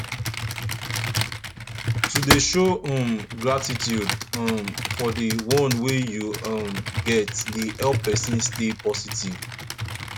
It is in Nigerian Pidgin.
to de show um gratitude um for di one wey you um get de help persin stay positive